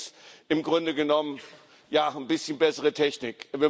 Das ist im Grunde genommen eine ein bisschen bessere Technik.